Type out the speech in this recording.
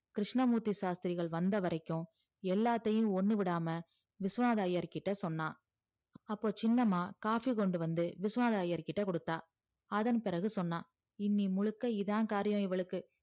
கிருஷ்ணமூர்த்தி ஷாஷ்திரிகள் வந்த வரைக்கும் எல்லாத்தையும் ஒன்னு விடாம விஸ்வநாதர் ஐயர் கிட்ட சொன்னா அப்போ சின்னம்மா coffee கொண்டு வந்து விஸ்வநாதர் ஐயர் கிட்ட கொடுத்தா அதன் பிறகு சொன்னா இன்னி முழுக்க இதா காரியம் இவளுக்கு